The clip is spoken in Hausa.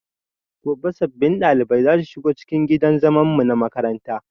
Gobe sabbin ɗaliban zasu shigo cikin gidan zaman mu na makaranta